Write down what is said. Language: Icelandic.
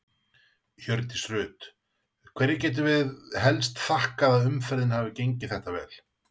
Hjördís Rut: Hverju getum við helst þakkað að umferðin hafi gengið þetta vel?